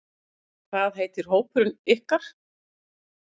Hvað heitir hópurinn ykkar?